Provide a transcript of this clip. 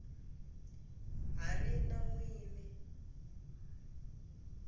ha ri na n wini